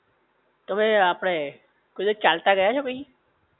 તમે આપડે કોઈ દિવસ ચાલતા ગયા છો ભઇ